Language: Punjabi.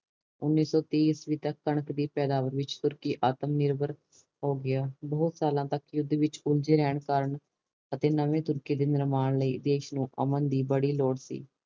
ਉਨੀ ਸੋ ਤਿਹ ਈਸਵੀ ਤੱਕ ਕਣਕ ਦੀ ਪੈਦਾਵਾਰ ਵਿੱਚ ਤੁਰਕੀ ਆਤਮਨਿਰਭਰ ਹੋ ਗਿਆ ਬਹੁਤ ਸਾਲਾਂ ਤਕ ਯੁੱਧ ਵਿੱਚ ਉਲਜੇ ਰਹਿਣ ਕਾਰਨ ਅਤੇ ਨਵੇਂ ਤੁਰਕੀ ਦੇ ਮਹਿਮਾਨ ਲਈ ਦੇਸ਼ ਨੂੰ ਅਮਨ ਦੀ ਬੜੀ ਲੋੜ ਸੀ